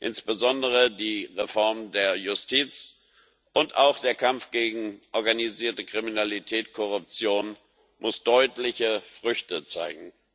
Insbesondere die Reform der Justiz und auch der Kampf gegen organisierte Kriminalität, Korruption müssen deutliche Früchte zeigen.